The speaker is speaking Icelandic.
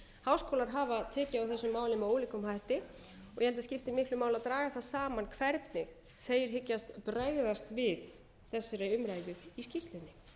háskólar hafa tekið á þessu máli með ólíkum hætti ég held að skipti miklu máli að draga það saman hvernig þeir hyggjast bregðast við þessari umræðu í skýrslunni